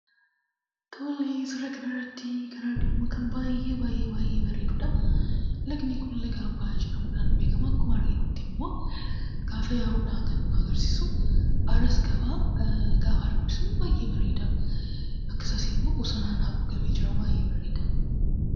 Lagni suura kanarratti argamu immoo kan baay'ee baay'ee bareedudha! Lagni kun laga Abbayyaa jedhamuudhaan beekama. Akkuma arginutti immoo gaafa yaa'udha kan nu agarsiisu. Aaras qaba. Bakkasaas immoo bosonaan haguugamee jira; baay'ee bareeda!